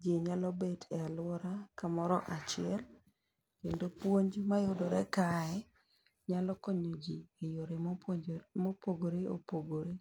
jiii nyalo bet e aluora kamoro achiel kendo puonj mayudore kae nyalo konyo jii e yore mopuonjore mopogore opogore.